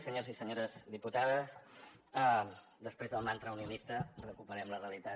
senyors i senyores diputades després del mantra unionista recuperem la realitat